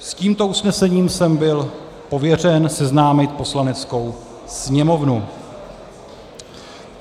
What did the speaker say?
S tímto usnesením jsem byl pověřen seznámit Poslaneckou sněmovnu.